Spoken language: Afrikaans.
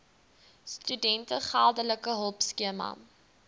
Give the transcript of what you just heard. studente geldelike hulpskema